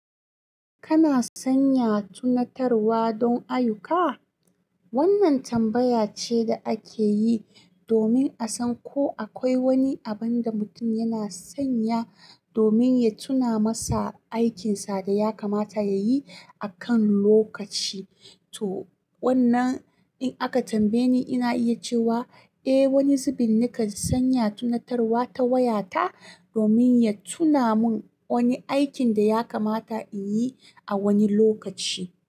Kana sanya tunatarwa don ayyuka? Wannan tambaya ce da ake yi domin a san ko akwai wani abin da mutum yana sanya domin ya tuna masa aikinsa da ya kamata ya yi a kan lokaci. To wannan, in aka tambaye ni, ina iya cewa eh wani zubin nakan sanya tunatarwa ta waya ta domin ya tuna mun wani aikin daya kamata inyi a wani lokaci.